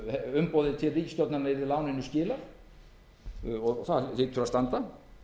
umboðið til ríkisstjórnarinnar yrði láninu skilað og það hlýtur að standa